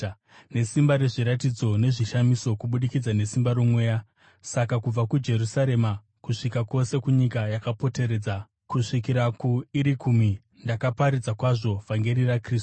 nesimba rezviratidzo nezvishamiso, kubudikidza nesimba roMweya. Saka kubva kuJerusarema kusvika kwose kunyika yakapoteredza, kusvikira kuIrikumi, ndakaparidza kwazvo vhangeri raKristu.